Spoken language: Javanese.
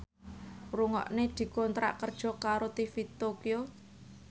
Nugroho dikontrak kerja karo TV Tokyo